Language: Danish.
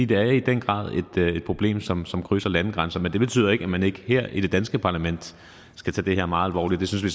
det er i den grad problem som som krydser landegrænser men det betyder ikke at man ikke her i det danske parlament skal tage det her meget alvorligt det synes vi